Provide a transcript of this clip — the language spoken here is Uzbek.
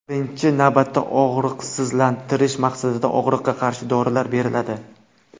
Birinchi navbatda og‘riqsizlantirish maqsadida og‘riqqa qarshi dorilar beriladi.